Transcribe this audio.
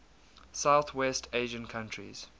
southwest asian countries